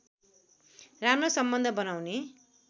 राम्रो सम्बन्ध बनाउने